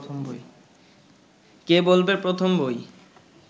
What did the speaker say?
কে বলবে প্রথম বই